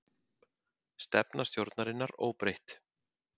Stefna stjórnarinnar óbreytt